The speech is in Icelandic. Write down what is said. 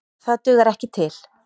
Það dugar ekki til.